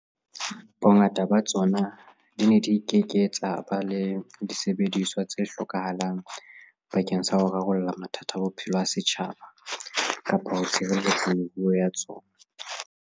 Bongata ba tsona di ne di ke ke tsa ba le disebediswa tse hlokahalang bakeng sa ho rarolla mathata a bophelo a setjhaba kapa ho tshireletsa meruo ya tsona.